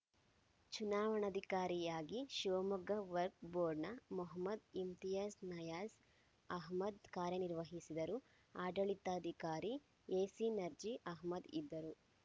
ಚುನಾವಣಾಧಿಕಾರಿಯಾಗಿ ಶಿವಮೊಗ್ಗ ವರ್ಕ್ ಬೋರ್ನ ಮೊಹಮ್ಮದ್‌ ಇಮ್ತಿಯಾಜ್‌ ನಯಾಜ್‌ ಅಹಮ್ಮದ್‌ ಕಾರ್ಯನಿರ್ವಹಿಸಿದರು ಆಡಳಿತಾಧಿಕಾರಿ ಎಸಿ ನರ್ಜಿ ಅಹಮ್ಮದ್‌ ಇದ್ದರು